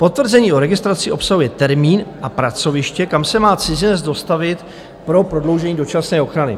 Potvrzení o registraci obsahuje termín a pracoviště, kam se má cizinec dostavit pro prodloužení dočasné ochrany.